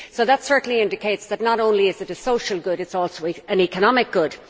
That certainly indicates that not only is it a social good, it is an economic good.